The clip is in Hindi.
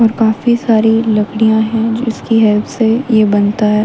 और काफी सारी लकड़ियां है जिसकी हेल्प से ये बनता है।